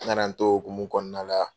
N nana n to o hokumu kɔnɔna la.